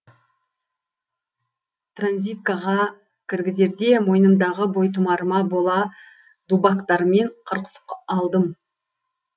транзиткаға кіргізерде мойнымдағы бойтұмарыма бола дубактармен қырқысып алдым